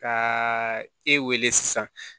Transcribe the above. Ka e wele sisan